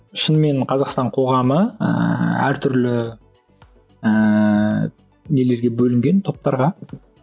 шынымен қазақстан қоғамы ыыы әр түрлі ыыы нелерге бөлінген топтарға